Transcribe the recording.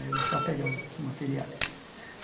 Aí eu não sou apegado com esses materiais.